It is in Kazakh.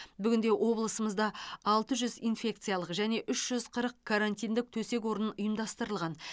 бүгінде облысымызда алты жүз инфекциялық және үш жүз қырық карантиндік төсек орын ұйымдастырылған